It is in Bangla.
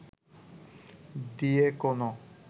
দিয়ে কোনো